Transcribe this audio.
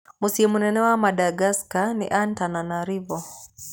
Mũciĩ mũnene wa Madagascar nĩ Antananarivo.